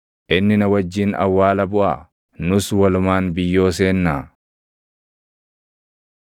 Inni na wajjin awwaala buʼaa? Nus walumaan biyyoo seennaa?”